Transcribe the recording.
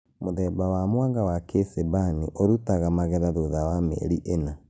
Mũthemba wa mwanga wa kĩcimbani ĩrutaga magetha thutha wa mĩeri ĩna